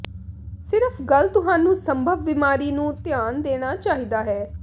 ਸਿਰਫ ਗੱਲ ਤੁਹਾਨੂੰ ਸੰਭਵ ਬੀਮਾਰੀ ਨੂੰ ਧਿਆਨ ਦੇਣਾ ਚਾਹੀਦਾ ਹੈ